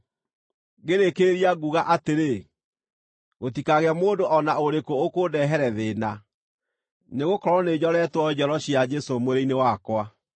Ngĩrĩkĩrĩria nguuga atĩrĩ, gũtikagĩe mũndũ o na ũrĩkũ ũkũndehere thĩĩna, nĩgũkorwo nĩnjoretwo njoro cia Jesũ mwĩrĩ-inĩ wakwa.